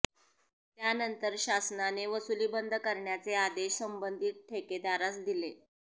त्यानंतर शासनाने वसुली बंद करण्याचे आदेश संबंधित ठेकेदारास दिले